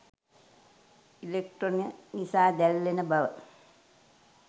ඉලෙක්ට්‍රෝන නිසා දැල්වෙන බව